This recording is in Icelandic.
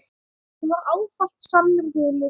Hún var ávallt sannur vinur.